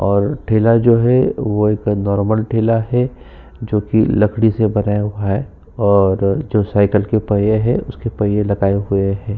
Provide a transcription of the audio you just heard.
और ठेला जो है वो एक नॉर्मल ठेला है जोकि लकड़ी से बनाया हुआ है और जो साइकिल के पहिये है उसके पहिये लगाए हुए है।